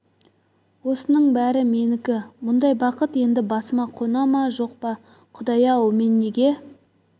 осының бәрі менікі мұндай бақыт енді басыма қона ма жоқ па құдай-ау мен неге